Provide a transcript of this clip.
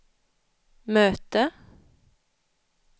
möte